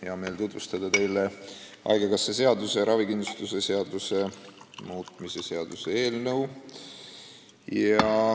Hea meel on tutvustada teile Eesti Haigekassa seaduse ja ravikindlustuse seaduse muutmise seaduse eelnõu.